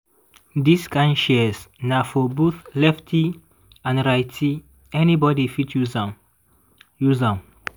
dis kind shears na for both lefty and righty—anybody fit use am. use am.